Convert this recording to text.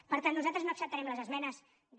per tant nosaltres no acceptarem les esmenes de